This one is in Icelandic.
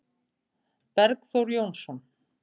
Bergþór Jónsson